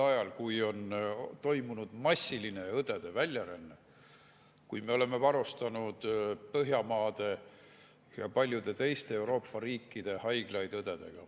On ju toimunud massiline õdede väljaränne, me oleme varustanud õdedega Põhjamaade ja paljude teiste Euroopa riikide haiglaid.